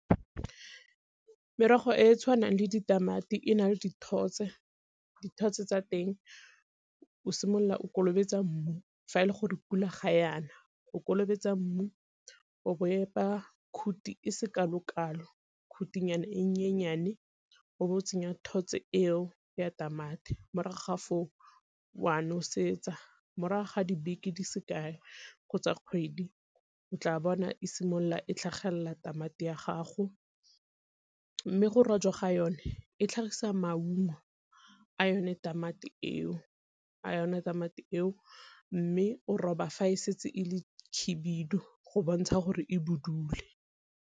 Merogo e e tshwanang le ditamati e na le dithotse, dithotse tsa teng o simolola o kolobetsa mmu fa e le gore pula ga yana o kolobetso mmu o bo epa khuthi e se kalokalo, khuthinyana e nyenyane o bo o tsenya thotse eo ya tamati morago ga foo o a nosetsa. Morago ga dibeke di sekae kgotsa kgwedi o tla bona e simolola e tlhagelela tamati ya gago, mme go rojwa ga yone e tlhagisa maungo a yone tamati eo. Mme o roba fa e setse e le khibidu go bontsha gore e budule.